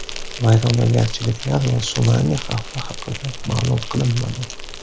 Vayronagarchiliklar va sunami xavfi haqida ma’lum qilinmadi.